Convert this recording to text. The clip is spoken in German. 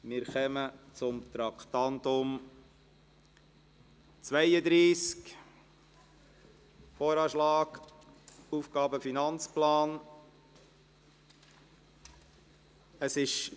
Wir kommen zum Traktandum 32, dem Voranschlag (VA) 2019, und zum Traktandum 33, dem Aufgaben- und Finanzplan (AFP) 2020–2022.